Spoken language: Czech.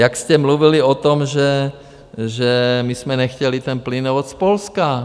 Jak jste mluvili o tom, že my jsme nechtěli ten plynovod z Polska.